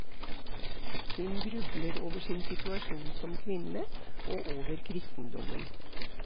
Hun grubler over sin situasjon som kvinne, og over kristendommen.